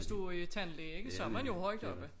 Hvis du tandlæge ikke så man jo højt oppe